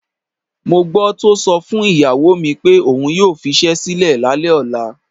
Mo gbó̩ tó so̩ fún ìyàwó mi pé òun yóò fis̩é̩ sílè̩ lálé̩ ò̩la.